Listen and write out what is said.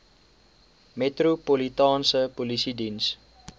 metropolitaanse polisie diens